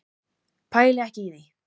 Pæli ekki í því.